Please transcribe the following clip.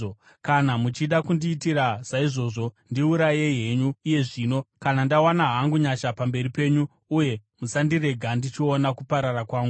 Kana muchida kundiitira saizvozvo, ndiurayei henyu iye zvino, kana ndawana hangu nyasha pamberi penyu, uye musandirega ndichiona kuparara kwangu.”